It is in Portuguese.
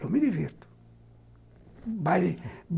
Eu me divirto, baile.